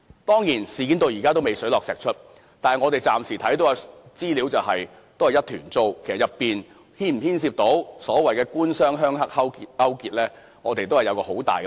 當然，事件至今仍未水落石出，但我們暫時所見的資料仍是一團糟，當中是否牽涉所謂的"官商鄉黑"勾結，我們仍存很大疑問。